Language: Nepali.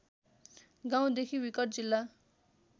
गाउँदेखि विकट जिल्ला